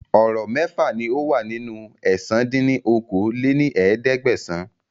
Ọ̀rọ̀ mẹ́fà ni ó wà nínú ẹ̀sán dín ní okòó-lé-ní-ẹ̀ẹ́dẹ́gbẹ́sán